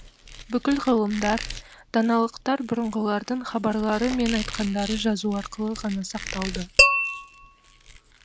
бүкіл ғылымдар даналықтар бұрынғылардың хабарлары мен айтқандары жазу арқылы ғана сақталды